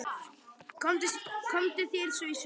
Komdu þér svo í sund.